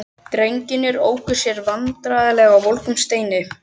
Drengirnir óku sér vandræðalega á volgum steinunum.